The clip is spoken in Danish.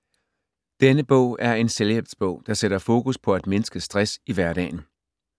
Denne bog er en selvhjælpsbog, der sætter fokus på at mindske stress i hverdagen.